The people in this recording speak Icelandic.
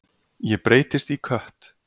Ég breytist í kött.